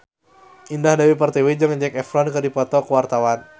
Indah Dewi Pertiwi jeung Zac Efron keur dipoto ku wartawan